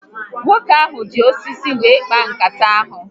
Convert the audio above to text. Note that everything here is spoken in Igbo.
Nwoke ahụ ji osisi were kpaa nkata ahụ